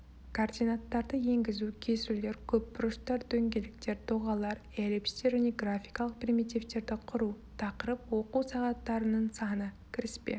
координаттарды енгізу кесулер көпбұрыштар дөңгелектер доғалар эллипстер мен графикалық примитивтерді құру тақырып оқу сағаттарының саны кіріспе